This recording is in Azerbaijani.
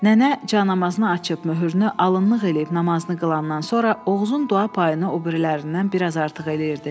Nənə canamazını açıb möhrünü alınlıq eləyib namazını qılandan sonra Oğuzun dua payını o birilərindən bir az artıq eləyirdi.